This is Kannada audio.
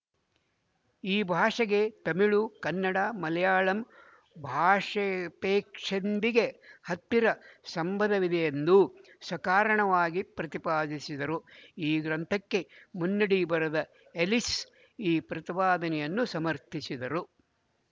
ಈ ಭಾಷೆಗೆ ತಮಿಳು ಕನ್ನಡ ಮಲಯಾಳಂ ಭಾಷೆ ಪೇಕ್ಷಿಂದಿಗೆ ಹತ್ತಿರ ಸಂಬಂಧವಿದೆಯೆಂದೂಸಕಾರಣವಾಗಿ ಪ್ರತಿಪಾದಿಸಿದರು ಈ ಗ್ರಂಥಕ್ಕೆ ಮುನ್ನುಡಿ ಬರೆದ ಎಲ್ಲಿಸ್ ಈ ಪ್ರತಿಪಾದನೆಯನ್ನು ಸಮರ್ಥಿಸಿದರು